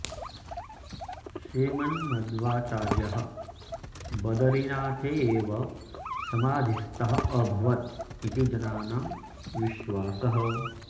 श्रीमन्मद्वाचार्यः बदरीनाथे एव समाधिस्थः अभवत् इति जनानां विश्वासः